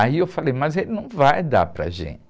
Aí eu falei, mas ele não vai dar para a gente.